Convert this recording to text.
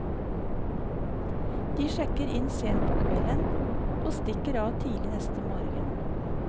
De sjekker inn sent på kvelden og stikker av tidlig neste morgen.